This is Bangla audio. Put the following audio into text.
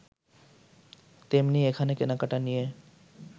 তেমনি এখানে কেনাকেটা নিয়ে